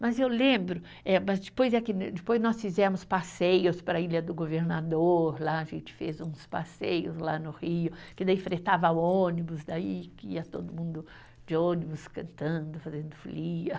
Mas eu lembro eh, mas depois é que no, depois nós fizemos passeios para a Ilha do Governador, lá a gente fez uns passeios lá no Rio, que daí fretava o ônibus, daí que ia todo mundo de ônibus cantando, fazendo folia.